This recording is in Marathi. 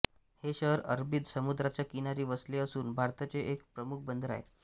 हे शहर अरबी समुद्राच्या किनारी वसले असून भारताचे एक प्रमुख बंदर आहे